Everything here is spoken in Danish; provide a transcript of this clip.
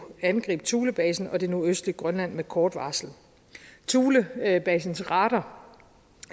angribe thulebasen og det nordøstlige grønland med kort varsel thulebasens radar